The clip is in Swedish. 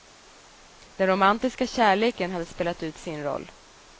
Den romantiska kärleken hade spelat ut sin roll.